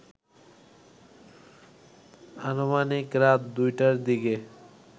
আনুমানিক রাত ২টার দিকে